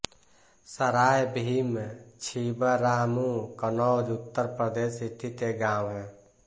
सराय भीम छिबरामऊ कन्नौज उत्तर प्रदेश स्थित एक गाँव है